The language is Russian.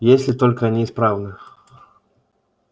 если только они исправны